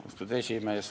Austatud juhataja!